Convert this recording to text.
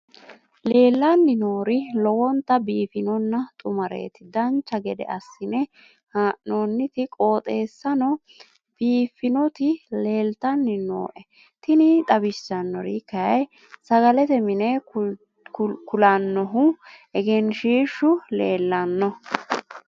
leellanni nooeri lowonta biiffinonna xumareeti dancha gede assine haa'noonniti qooxeessano biiffinoti leeltanni nooe tini xawissannori kayi sagalete mine kiulannohu egenshshiishu leellano